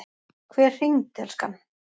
Hver hringdi, elskan?